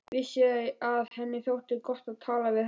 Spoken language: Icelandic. Vissi að henni þótti gott að tala við hana.